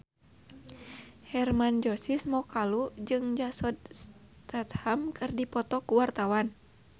Hermann Josis Mokalu jeung Jason Statham keur dipoto ku wartawan